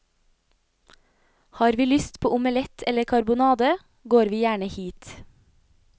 Har vi lyst på omelett eller karbonade, går vi gjerne hit.